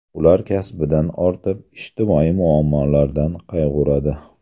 Ular kasbidan ortib, ijtimoiy muammolardan qayg‘uradi.